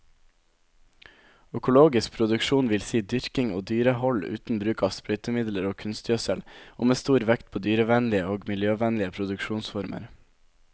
Økologisk produksjon vil si dyrking og dyrehold uten bruk av sprøytemidler og kunstgjødsel, og med stor vekt på dyrevennlige og miljøvennlige produksjonsformer.